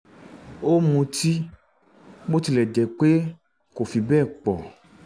ó ń mutí bó tilẹ̀ jẹ́ pé kò fi bẹ́ẹ̀ pọ